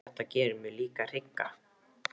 En þetta gerir mig líka hrygga.